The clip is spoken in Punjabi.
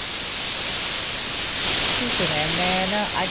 ਠੀਕ ਹੈ mam ਮੈਂ ਨਾ ਅੱਜ